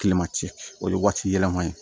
Kilema ci o ye waati yɛlɛma ye